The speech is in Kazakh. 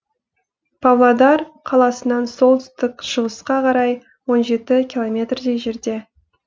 павлодар қаласынан солтүстік шығысқа қарай он жеті километрдей жерде